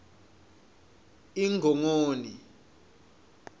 ingongoni